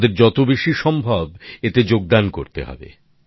আমাদের যত বেশি সম্ভব এতে যোগদান করতে হবে